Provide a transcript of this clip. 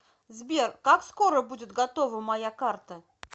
сбер как скоро будет готова моя карта